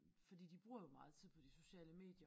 Fordi de bruger jo meget tid på de sociale medier